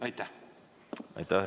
Aitäh!